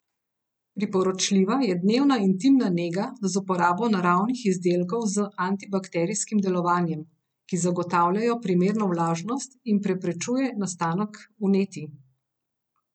Priporočljiva je dnevna intimna nega z uporabo naravnih izdelkov z antibakterijskim delovanjem, ki zagotavljajo primerno vlažnost in preprečujejo nastanek vnetij.